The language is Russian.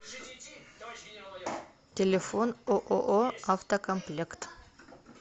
телефон ооо автокомплект